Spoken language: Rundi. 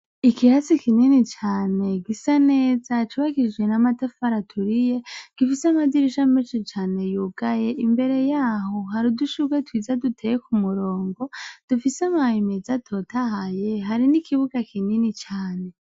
Ikirasi kinini cane gisa neza cubakishijwe n' amatafari aturiye, gifise amadirisha menshi cane yugaye, imbere yaho hari udushurwe twiza duteye ku murongo dufise amababi menza atotahaye, hari n' ikibuga kinini cane.